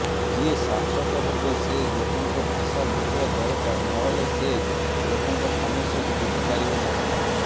ଯିଏ ଶାସକ ହେବେ ସେ ଲୋକଙ୍କ ଭାଷା ବୁଝିବା ଦରକାର ନହେଲେ ସେ ଲୋକଙ୍କ ସମସ୍ୟାକୁ ବୁଝିପାରିବେ ନାହିଁ